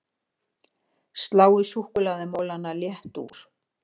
Sláið súkkulaðimolana létt úr